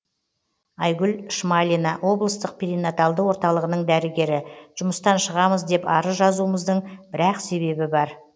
айгүл шмалина облыстық перинаталды орталығының дәрігері жұмыстан шығамыз деп арыз жазуымыздың бір ақ себебі бар